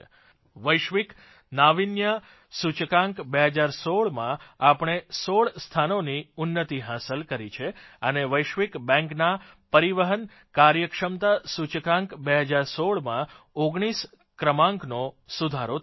વૈશ્વિક નાવિન્ય સૂચકાંક 2016માં આપણે 16 સ્થાનોની ઉન્નતિ હાંસલ કરી છે અને વિશ્વ બેંકના પરિવહન કાર્યક્ષમતા સૂચકાંક 2016માં 19 ક્રમાંકનો સુધારો થયો છે